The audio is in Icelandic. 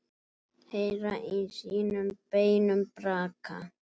Heyra í sínum beinum braka.